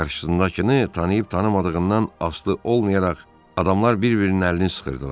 Qarşısındakını tanıyıb-tanımadığından asılı olmayaraq adamlar bir-birinin əlini sıxırdılar.